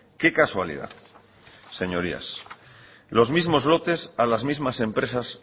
qué casualidad señorías los mismos lotes a las mismas empresas